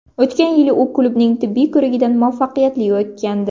O‘tgan yili u klubning tibbiy ko‘rigidan muvaffaqiyatli o‘tgandi.